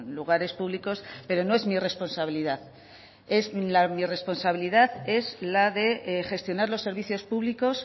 lugares públicos pero no es mi responsabilidad mi responsabilidad es la de gestionar los servicios públicos